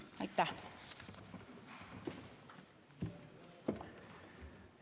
Aitäh!